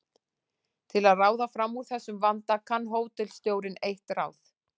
Til að ráða fram úr þessum vanda kann hótelstjórinn eitt ráð.